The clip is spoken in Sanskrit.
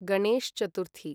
गणेश् चतुर्थी